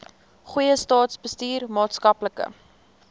goeie staatsbestuur maatskaplike